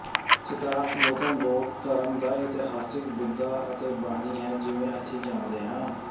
ਸਿਧਾਰਥ ਗੌਤਮ ਬੌਧ ਧਰਮ ਦਾ ਇਤਿਹਾਸਿਕ ਬੁੱਧਾ ਅਤੇ ਬਾਨੀ ਹੈ ਜਿਵੇਂ ਅਸੀਂ ਜਾਣਦੇ ਹਾਂ